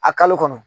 A kalo kɔnɔ